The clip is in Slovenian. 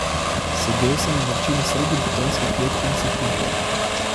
Sedel sem v vročini sredi betonske kletke in sopihal.